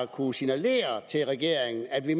kunne signalere til regeringen at vi